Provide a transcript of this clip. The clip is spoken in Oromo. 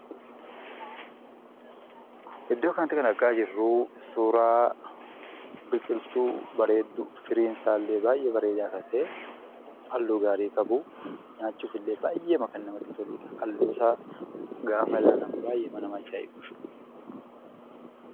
Iddoo kanatti kan argaa jirru suuraa biqiltuu, firiin isaa illee baay'ee bareedaa kan ta'e, halluu gaarii qabu, nyaachuuf illee baay'eema kan namatti toluudha. Halluu isaa gaafa ilaalan baay'eema nama ajaa'iba.